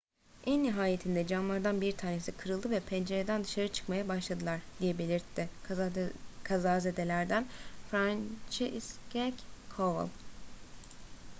en nihayetinde camlardan bir tanesi kırıldı ve pencereden dışarı çıkmaya başladılar,"diye belirtti kazazedelerden franciszek kowal